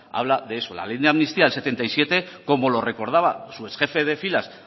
habla de eso la ley de amnistía del setenta y siete como lo recordaba su exjefe de filas